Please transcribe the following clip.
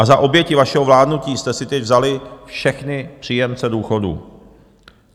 A za oběti vašeho vládnutí jste si teď vzali všechny příjemce důchodů.